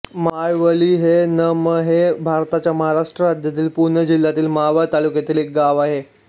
माळवली न म हे भारताच्या महाराष्ट्र राज्यातील पुणे जिल्ह्यातील मावळ तालुक्यातील एक गाव आहे